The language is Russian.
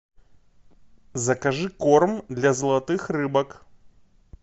закажи корм для золотых рыбок